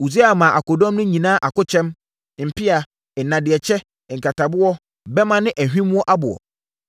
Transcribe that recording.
Usia maa akodɔm no nyinaa akokyɛm, mpea, nnadeɛ kyɛ, nkataboɔ, bɛmma ne ahwimmoɔ aboɔ.